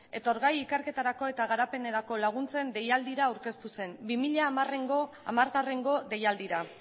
etorgai ikerketarako eta garapenerako laguntzen deialdira aurkeztu zen bi mila hamareko deialdira